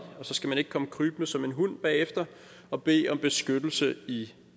og så skal man ikke komme krybende som en hund bagefter og bede om beskyttelse i